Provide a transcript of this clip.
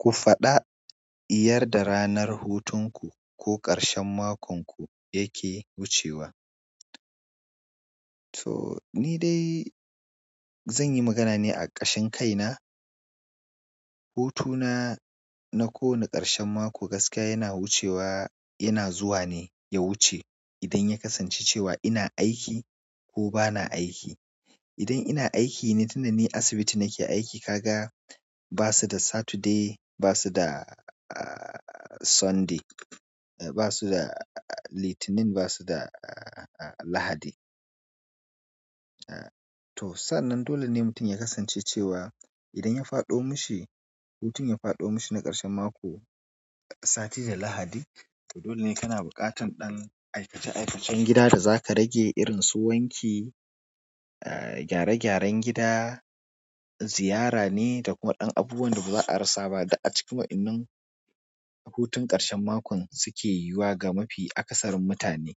Ku faɗa yarda ranar hutunku ko ƙarshen makon ku yake wucewa. To ni dai zan yi magana ne a ƙashin kaina. Hutu na, na kowane ƙarshen mako gaskiya yana wucewa, yana zuwa ne ya wuce idan ya kasance cewa ina aiki ko bana aiki. Idan ina aiki ne, tun da ni asibiti nake aiki, kaga ba su da Saturday, ba su da aa Sunday, ba su da Litinin, ba su da Lahadi. To sannan dole ne mutum ya kasance cewa idan ya faɗo mishi, hutun ya faɗo mishi na ƙarshen mako, Sati da Lahadi, to dole ne kana buƙatan ɗan aikace-aikacen gida da za ka rage irin su wanki, gyare-gyaren gida, ziyara ne da kuma ɗan abubuwan da ba za a rasa ba da a cikin wa'inan hutun ƙarshen makon suke yiwuwa ga mafi akasarin mutane.